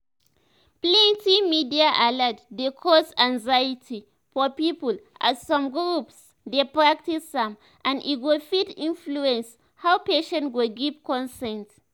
plenty media alert dey cause anxiety for people as some groups dey practice am and e go fit influence how patients go give consent."